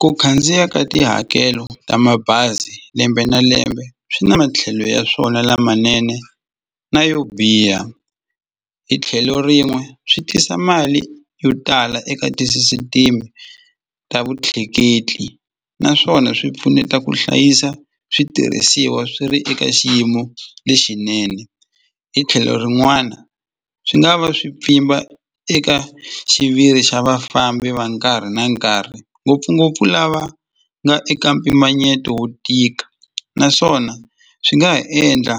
Ku khandziya ka tihakelo ta mabazi lembe na lembe swi na matlhelo ya swona lamanene na yo biha hi tlhelo rin'we swi tisa mali yo tala eka tisisitimi ta vutleketli naswona swi pfuneta ku hlayisa switirhisiwa swi ri eka xiyimo lexinene hi tlhelo rin'wana swi nga va swi pfimba eka xiviri xa vafambi va nkarhi na nkarhi ngopfungopfu lava nga eka mpimanyeto wo tika naswona swi nga ha endla